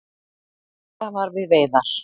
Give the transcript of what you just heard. Eitt þeirra var við veiðar.